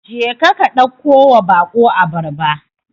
Jeka ka ɗakkowa baƙo abarba.